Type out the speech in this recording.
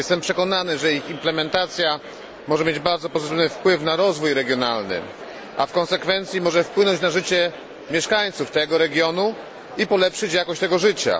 Jestem przekonany, że ich implementacja może mieć bardzo pozytywny wpływ na rozwój regionalny, a w konsekwencji może wpłynąć na życie mieszkańców tego regionu i polepszyć jakość tego życia.